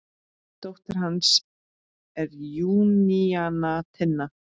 Dóttir hans er Júníana Tinna.